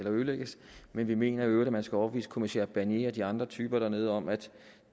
ødelægges men vi mener i øvrigt at man skal overbevise kommissær barnier og de andre typer dernede om at